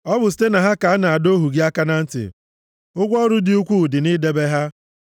Ọ bụ site na ha ka a na-adọ ohu gị aka na ntị; ụgwọ ọrụ dị ukwuu dị nʼidebe ha.